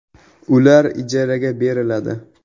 Ular ijaraga beriladi.